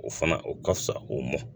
O fana o ka fusa ko mɔn